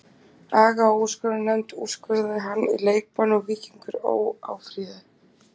Aga og úrskurðarnefnd úrskurðaði hann í leikbann og Víkingur Ó. áfrýjaði.